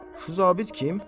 Şu zabit kim?